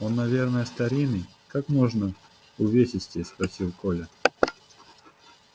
он наверно старинный как можно увесистее спросил коля